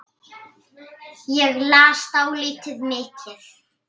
Ég las dálítið mikið.